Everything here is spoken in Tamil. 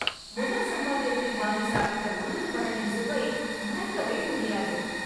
முதல் சம்பாத்தியத்தில் வாங்கி சாப்பிட்ட உளுந்து வடையின் சுவை, மறக்கவே முடியாது.